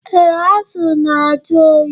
Ee, azụ na-ajụ oyi